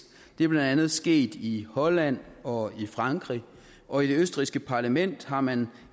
det er blandt andet sket i holland og i frankrig og i det østrigske parlament har man